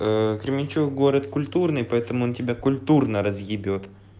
ээ кременчуг город культурный поэтому он тебя культурно разъебет